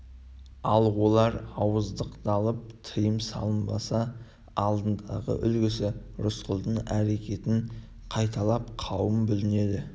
ал олар ауыздықталып тыйым салынбаса алдындағы үлгісі рысқұлдың әрекетін қайталап қауым бүлінеді